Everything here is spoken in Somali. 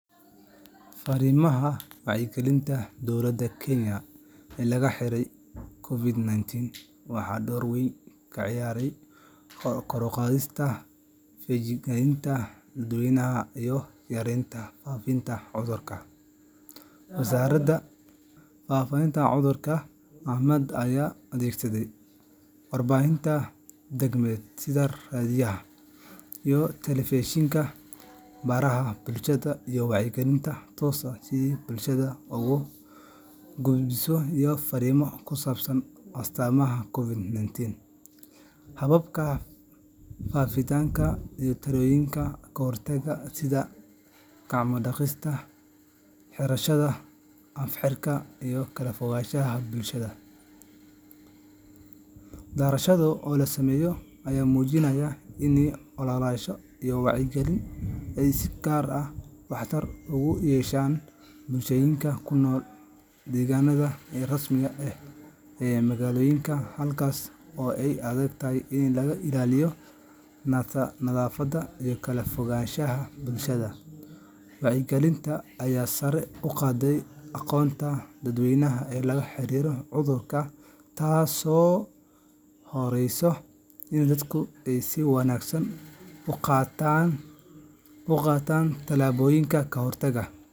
Fariimaha wacyigelinta dowladda Kenya ee la xiriiray COVID-19 waxay door weyn ka ciyaareen kor u qaadista feejignaanta dadweynaha iyo yareynta faafitaanka cudurka. Wasaaradda Caafimaadka ayaa adeegsaday warbaahinta dhaqameed sida raadiyaha iyo telefishinka, baraha bulshada, iyo wacyigelin toos ah si ay bulshada ugu gudbiso fariimo ku saabsan astaamaha COVID-19, hababka faafitaanka, iyo tallaabooyinka ka hortagga sida gacmo-dhaqashada, xirashada af-xirka, iyo kala fogaanshaha bulshada. Daraasado la sameeyay ayaa muujiyay in ololayaashan wacyigelinta ay si gaar ah waxtar ugu yeesheen bulshooyinka ku nool deegaanada aan rasmi ahayn ee magaalooyinka, halkaas oo ay adag tahay in la ilaaliyo nadaafadda iyo kala fogaanshaha bulshada. Wacyigelinta ayaa sare u qaaday aqoonta dadweynaha ee la xiriirta cudurka, taasoo horseeday in dadku ay si wanaagsan u qaataan tallaabooyinka ka hortagga.